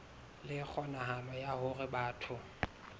le kgonahalo ya hore batho